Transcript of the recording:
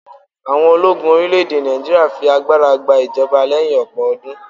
àwọn ológun orilẹ ède Naijiria fi agbara gba ijọba leyin ọpọ ọdún